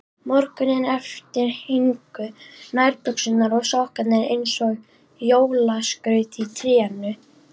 Morguninn eftir héngu nærbuxur og sokkar eins og jólaskraut í trénu.